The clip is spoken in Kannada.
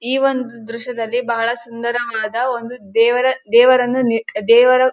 ಈ ಒಂದು ದ್ರಶ್ಯದಲ್ಲಿ ಬಹಳ ಸುಂದರವಾದ ಒಂದು ದೇವರ ದೇವರನ್ನು ದೇವರ --